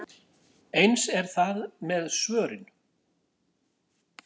Eins er það með svörin.